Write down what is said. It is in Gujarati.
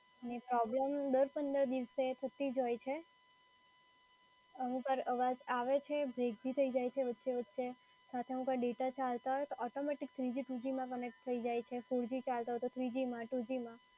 અને પ્રોબ્લેમ દર પંદર વીસ દિવસે થતી જ હોય છે, અમુકવાર અવાજ આવે છે break બી થઈ જાય છે વચ્ચે વચ્ચે. સાથે ડેટા ચાલતો હોય તો automatic three g two g માં connect થઈ જાય છે. four g ચાલતો હોય તો three g માં two g માં.